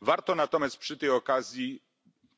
Warto natomiast przy tej okazji